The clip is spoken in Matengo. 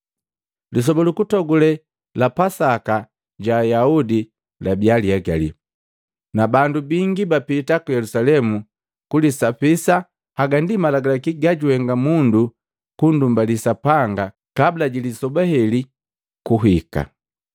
Lisoba lukutogule la Pasaka ja Ayaudi labia lihegali, na bandu bingi bapiti ku Yelusalemu kulisapisa haga ndi malagalaki gaguhenga mundu kundumbaliya Sapanga kabula ji lisoba heli kuhika.